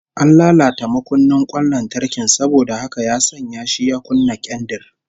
An latata makunnin kwan lantarkin saboda haka ya sanya shi ya kunna kendir